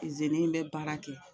Izini bɛ baara kɛ